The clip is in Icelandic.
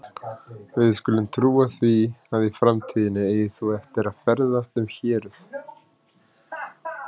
Við skulum trúa því, að í framtíðinni eigir þú eftir að ferðast um héruð